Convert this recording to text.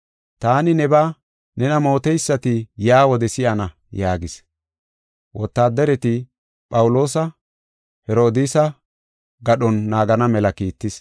“Taani nebaa nena mooteysati yaa wode si7ana” yaagis. Wotaaddareti Phawuloosa Herodiisa gadhon naagana mela kiittis.